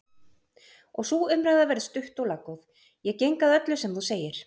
Og sú umræða verður stutt og laggóð:-Ég geng að öllu sem þú segir!